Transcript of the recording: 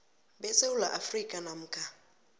besewula afrika namkha